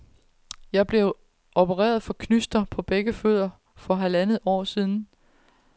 Jeg er blevet opereret for knyster på begge fødder for halvandet år siden.